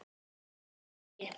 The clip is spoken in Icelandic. Get það ekki.